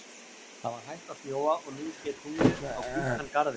Það var hætt að snjóa og nú skein tunglið á hvítan garðinn.